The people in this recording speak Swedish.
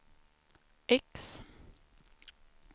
X